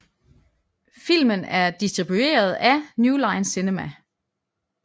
Filmen er distribueret af New Line Cinema